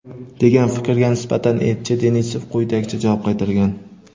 degan fikrga nisbatan elchi Denisov quyidagicha javob qaytargan:.